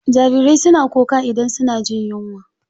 Jarirai suna kuka idan suna jin yunwa.